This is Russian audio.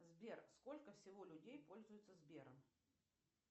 сбер сколько всего людей пользуются сбером